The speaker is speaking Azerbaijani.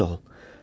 Çox sağ ol.